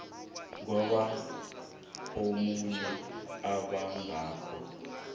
ngoba omunye obangako